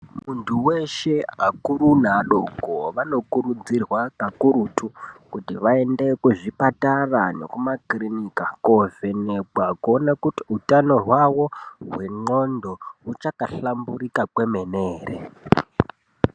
Munthu weshe, akuru neadoko vanokurudzirwa kakurutu, kuti vaende kuzvipatara nekumakiriniki koovhenekwa. Kuona kuti utano hwawo hwenqondo, huchaka hlamburika kwemene ere.